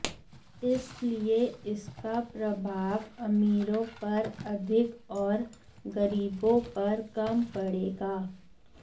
इसलिए इसका प्रभाव अमीरों पर अधिक और गरीबों पर कम पड़ेगा